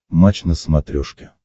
матч на смотрешке